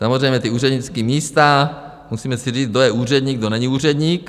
Samozřejmě ta úřednická místa - musíme si říct, kdo je úředník, kdo není úředník.